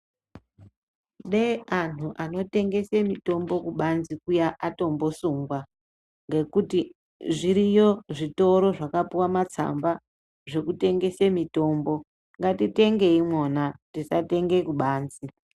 Deeanhu anotengese mutombo kubanze Kuya atombosungwa ngekuti zviriyo zvitoro zvakapiwe matsamba ekutengese mutombo ngatitengei mwona tisatenge kubanze